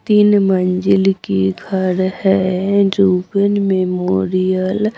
तीन मंजिल की घर है रुबन मेमोरियल ।